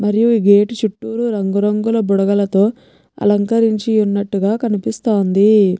మరియు ఈ గేట్ చుట్టూరు రంగు రంగు బుడగలతో అలంకరించియున్నటుగా కనిపిస్తాంది.